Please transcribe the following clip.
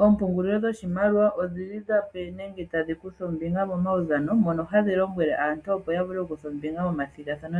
Oompungulilo dhoshimaliwa odhili tadhi kutha ombinga momaudhano mohadhi lombwele aantu opo yavule okukutha ombinga momathigathano